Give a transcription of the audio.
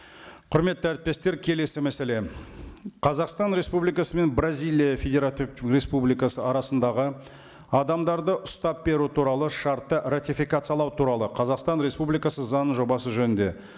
құрметті әріптестер келесі мәселе қазақстан республикасы мен бразилия федеративтік республикасы арасындағы адамдарды ұстап беру туралы шартты ратификациялау туралы қазақстан республикасы заңының жобасы жөнінде